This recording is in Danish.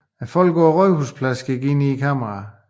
Folk på Rådhuspladsen kigger ind i kameraet